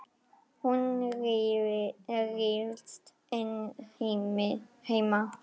Hún ryðst inn heima.